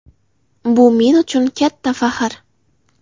Bu men uchun katta faxr.